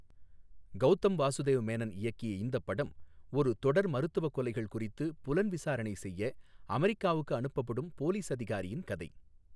கவுதம் வாசுதேவ் மேனன் இயக்கிய இந்தப் படம், ஒரு தொடர் மருத்துவக் கொலைகள் குறித்து புலன்விசாரணை செய்ய அமெரிக்காவுக்கு அனுப்பப்படும் போலீஸ் அதிகாரியின் கதை.